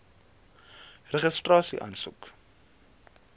registrasieaansoek